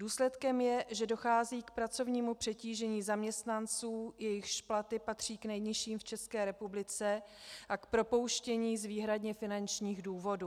Důsledkem je, že dochází k pracovnímu přetížení zaměstnanců, jejichž platy patří k nejnižším v České republice, a k propouštění z výhradně finančních důvodů.